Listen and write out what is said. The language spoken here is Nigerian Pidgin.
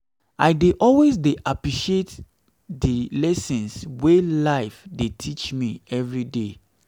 i dey always appreciate di lessons wey life dey teach me evriday